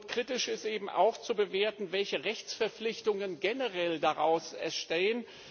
Kritisch ist eben auch zu bewerten, welche Rechtsverpflichtungen generell daraus entstehen.